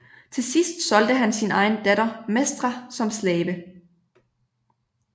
Til sidst solgte han sin egen datter Mestra som slave